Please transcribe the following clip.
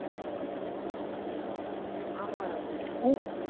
ஆமா ராகுல்